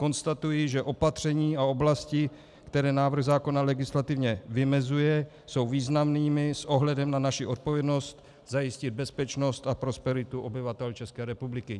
Konstatuji, že opatření a oblasti, které návrh zákona legislativně vymezuje, jsou významnými s ohledem na naši odpovědnost zajistit bezpečnost a prosperitu obyvatel České republiky.